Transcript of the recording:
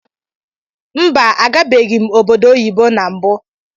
Mba agabeghim obodo oyibo na mbu.